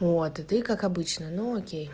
вот и ты как обычно но окей